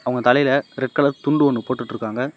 அவங்க தலையில red colour துண்டு ஒன்னு போட்டுட்டுருக்காங்க.